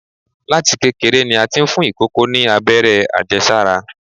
Láti kékeré ni a ti ń fún ìkòkò ni Abẹ́rẹ́ àjẹsára.